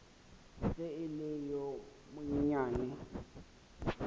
ge e le yo monyenyane